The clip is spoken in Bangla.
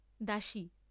দাসী।